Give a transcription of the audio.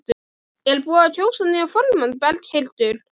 Er búið að kjósa nýjan formann Berghildur?